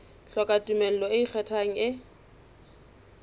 hloka tumello e ikgethang e